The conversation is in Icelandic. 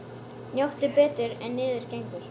Njóttu betur en niður gengur.